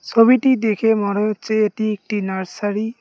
সবিটি দেখে মনে হচ্ছে এটি একটি নার্সারি ।